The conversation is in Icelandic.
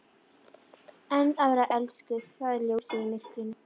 En að vera elskuð- það er ljósið í myrkrinu!